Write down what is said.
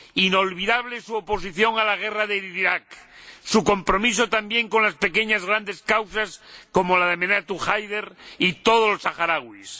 Inolvidable su oposición a la guerra de Irak, su compromiso también con las pequeñas grandes causas, como la de Aminatu Haidar y todos los saharauis.